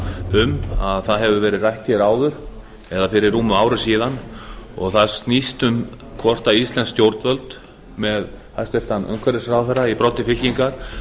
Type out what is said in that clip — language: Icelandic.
um hefur verið rætt hér áður eða fyrir rúmu ári síðan og það snýst um hvort íslensk stjórnvöld með hæstvirtur umhverfisráðherra í broddi fylkingar